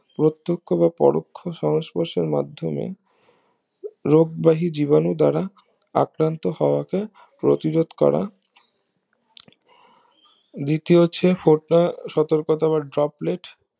প্রত্যক্ষ বা পরোক্ষ সংস্পর্শের মাধ্যমে রোগ বেহি জীবাণু দ্বারা আক্রান্ত হওয়াকে প্রতিরোধ করা দ্বিতীয় হচ্ছে ফরটা সতর্কতা বা ড্রপলেট